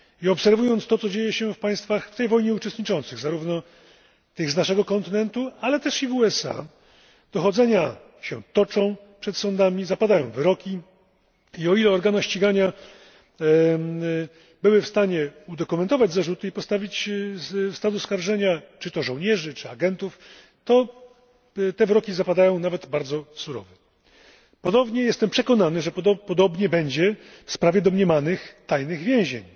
Obserwując to, co dzieje się w państwach w tej wojnie uczestniczących, zarówno tych z naszego kontynentu, ale też i w USA, można stwierdzić, że przed sądami toczą się dochodzenia, zapadają wyroki i, o ile organy ścigania były w stanie udokumentować zarzuty i postawić w stan oskarżenia czy to żołnierzy, czy agentów, wyroki te zapadają nawet bardzo surowe. Jestem przekonany, że podobnie będzie w sprawie domniemanych tajnych więzień